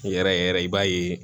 Yɛrɛ yɛrɛ yɛrɛ i b'a ye